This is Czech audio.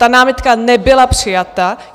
Ta námitka nebyla přijata.